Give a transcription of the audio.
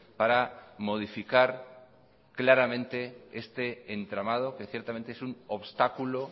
para modificar claramente este entramado que ciertamente es un obstáculo